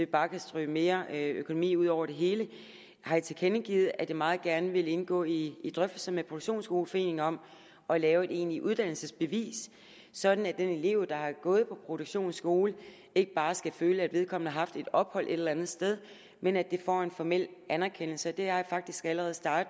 bare kan strø mere økonomi ud over det hele har jeg tilkendegivet at jeg meget gerne vil indgå i drøftelser med produktionsskoleforeningen om at lave et egentligt uddannelsesbevis sådan at den elev der har gået på produktionsskole ikke bare skal føle at vedkommende har haft et ophold et eller andet sted men at det får en formel anerkendelse det arbejde har jeg faktisk allerede startet